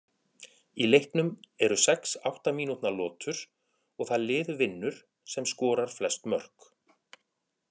Í leiknum eru sex átta mínútna lotur og það lið vinnur sem skorar flest mörk.